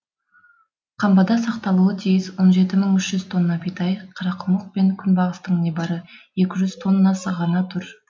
қамбада сақталуы тиіс он жеті мың үш жүз тонна бидай қарақұмық пен күнбағыстың небәрі екі жүз тоннасы ғана тұр